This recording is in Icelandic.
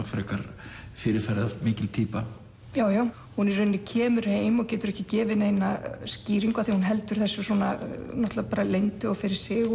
frekar fyrirferðarmikil týpa jú hún í rauninni kemur heim og getur ekki gefið neina skýringu af því hún heldur þessu leyndu og fyrir sig